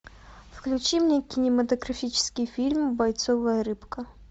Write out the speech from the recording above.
включи мне кинематографический фильм бойцовая рыбка